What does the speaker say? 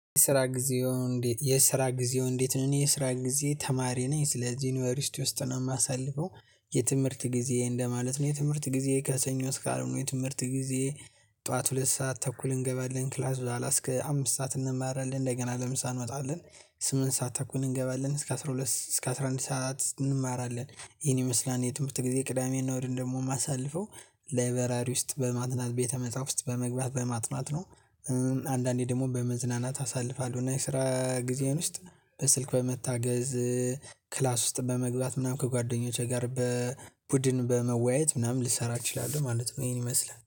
የስራ ጊዜው እንዴት የስራ ጊዜው እንዴት ነው? የስራ ጊዜ ተማሪ ነኝ ስለዚህ ዩኒቨርስቲ ውስጥ ነው የማሳልፈው። የትምህርት ጊዜየን ለማለት ነው የትምህርት ጊዜ ከሰኞ እስከ አርብ ነው የትምህርት ጊዜ። ጠዋት ሁለት ሰዓት ተኩል እንገባለን ክላስ ኋላ እስከ አምስት ሰዓት እንማራለን እንደገና ለምሳሌ እንወጣለን። ስምንት ሰዓት ተኩል እንገባለን እስከ አስራ ሁለት እስከ አስራ አንድ ሰዓት እንማራለን። ይህን ይመስላል የትምህርት ጊዜ ቅዳሜ እሁድን ደግሞ የማሳልፈው። ላይበራሪ ውስጥ በማጥናት ቤተ መጽሐፍት ውስጥ በመግባት በማጥናት ነው። አንዳንዴ ደግሞ በመዝናናት አሳልፋለሁ እና የስራ ጊዜዬን ውስጥ በስልክ በመታገዝ። ክላስ ውስጥ በመግባት ምናምን ከጓደኞቼ ጋር በቡድን በመወያየት ምናምን ልሰራ እችላለሁ ማለት ነው። ይሄን ይመስላል